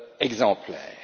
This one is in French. et être exemplaire.